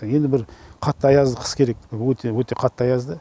енді бір қатты аязды қыс керек өте өте қатты аязды